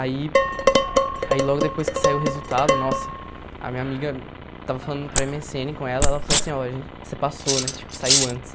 Aí, aí logo depois que saiu o resultado, nossa, a minha amiga estava falando por eme esse ene com ela, ela falou assim, ó, você passou, né, tipo, saiu antes.